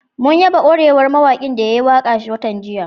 Mun yaba ƙwarewar mawaƙin da ya yi waƙa watan jiya